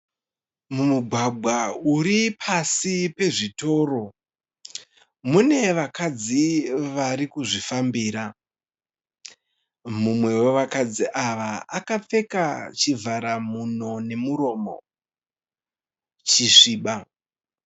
Mumugwagwa uripasi pezvitoro, mune vakadzi varikuzvifambira. Mumwe wevakadzi ava akapfeka chivhara nhuno nemuromo, chisviba.